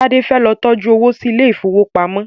Tade fẹ ló tọjú owo sí Ilé ìfowópamọ́